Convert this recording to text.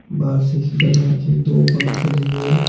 बाहर से के दो पंखे लगे--